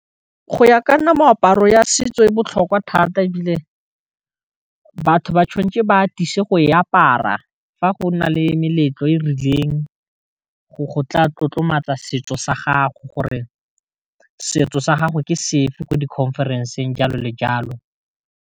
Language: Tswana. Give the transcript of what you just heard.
Go ya ka nna meaparo ya setso e botlhokwa thata e bile batho ba tshwanetse ba atise go e apara fa go na le meletlo e rileng go tla tlotlomatsa setso sa gago gore setso sa gago ke sefe ko di conference-ng jalo le jalo.